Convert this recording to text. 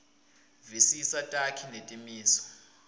visisa takhi netimiso